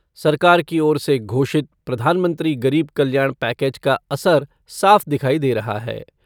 सरकार की ओर से घोषित प्रधानमंत्री गरीब कल्याण पैकेज का असर साफ़ दिखाई दे रहा है।